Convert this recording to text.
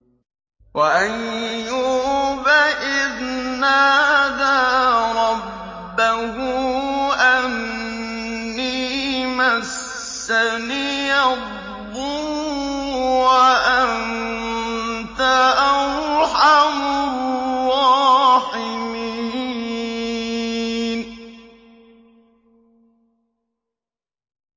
۞ وَأَيُّوبَ إِذْ نَادَىٰ رَبَّهُ أَنِّي مَسَّنِيَ الضُّرُّ وَأَنتَ أَرْحَمُ الرَّاحِمِينَ